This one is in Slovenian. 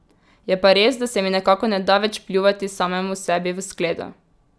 Je pa res, da se mi nekako ne da več pljuvati samemu sebi v skledo.